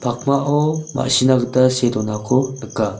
pakmao ma·sina gita see donako nika.